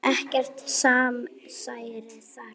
Ekkert samsæri þar.